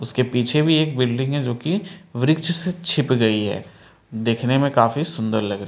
उसके पीछे भी एक बिल्डिंग है जो की वृक्ष से छिप गई है दिखने में काफी सुंदर लग रही है।